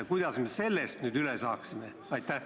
Ja kuidas me sellest nüüd üle saaksime?